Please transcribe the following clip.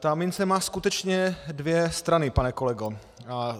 Ta mince má skutečně dvě strany, pane kolego.